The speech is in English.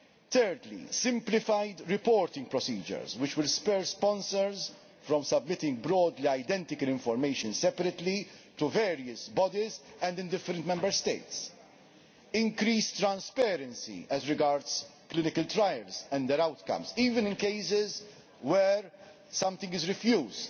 Thirdly, simplified reporting procedures which will spur sponsors away from submitting broadly identical information separately to various bodies and in different Member States increased transparency regarding clinical trials and their outcomes, even in cases where something is refused,